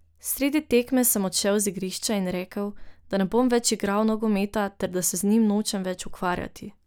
Sredi tekme sem odšel z igrišča in rekel, da ne bom več igral nogometa ter da se z njim nočem več ukvarjati.